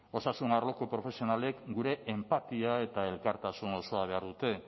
osasun arloko profesionalek gure enpatia eta elkartasun osoa behar dute